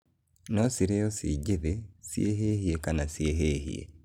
Nocirĩo cinjĩthĩ, cihĩhie kana cihĩhie.